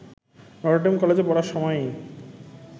Notre Dame কলেজে পড়ার সময়ই